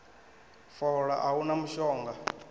fola a hu na mushonga